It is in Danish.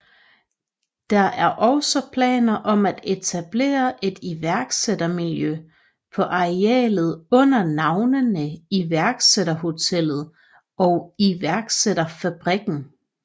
Der er også planer om at etablere et iværksættermiljø på arealet under navnene Iværksætterhotellet og Iværksætterfabrikken